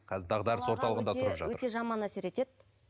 қазір дағдарыс орталығында тұрып жатыр өте жаман әсер етеді